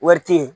Wari te yen